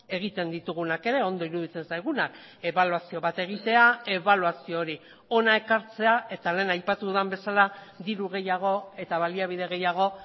egiten ditugunak ere ondo iruditzen zaigunak ebaluazio bat egitea ebaluazio hori hona ekartzea eta lehen aipatu dudan bezala diru gehiago eta baliabide gehiago